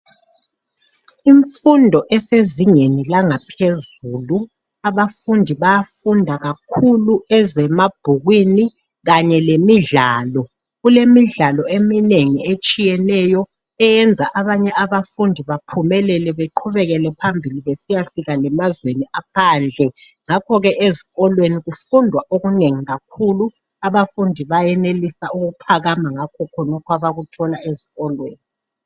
Imfundo esezingeni langaphezulu. Abafundi bayafunda kakhulu ezemabhukwini, kanye lemidlalo. Kulemidlalo eminengi etshiyeneyo. Eyenza abanye abafundi baphumelele. Beqhubekele phambili, besiyafika lemazweni aphandle. Ngakho ke ezikolweni, kufundwa okunengi kakhulu Abafundi bafunda okunengi kakhulu! Abafundi bayenelisa ukuphakama ngakho khonokhu, abakuthola ezikolweni.